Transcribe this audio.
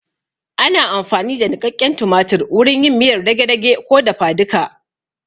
Ana amfani da niƙaƙen tumatir wurin yin miyar dage-dage ko dafa duka